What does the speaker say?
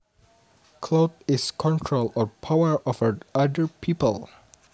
Clout is control or power over other people